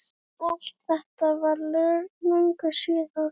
En allt þetta var löngu síðar.